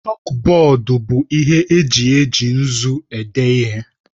Chọkbọọdu bụ ihe eji eji nzu ede ihe.